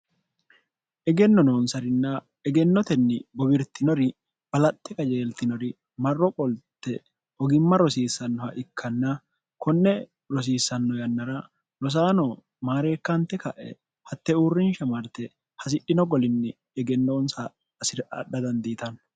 egenno noonsarinna egennotenni gobirtinori balaxte qajeeltinori marro qolte ogimma rosiissannoha ikkanna konne rosiissanno yannara nosaano maareekkaante ka'e hatte uurrinsha marte hasidhino golinni egennoonsa asir adha dandiitanno